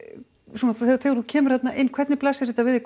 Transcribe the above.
svona þegar þú kemur þarna inn hvernig blasir þetta við